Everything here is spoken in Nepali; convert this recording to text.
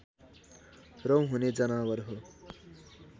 रौँ हुने जनावर हो